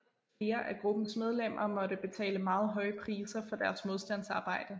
Flere af gruppens medlemmer måtte betale meget høje priser for deres modstandsarbejde